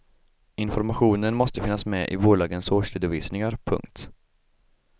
Informationen måste finnas med i bolagens årsredovisningar. punkt